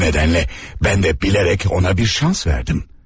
Bu nədənlə mən də bilərək ona bir şans verdim.